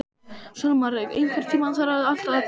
Salmar, einhvern tímann þarf allt að taka enda.